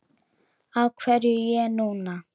Af hverju ég núna?